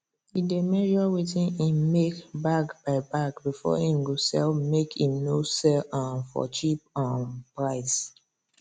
e dey measure wetin him make bag by bag before him go sell make him no sell um for cheap um price